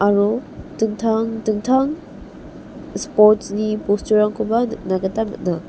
aro dingtang dingtang sports-ni bosturangkoba nikna gita man·a.